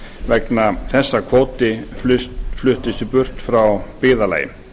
vegna þess að kvóti fluttist í burt frá byggðarlaginu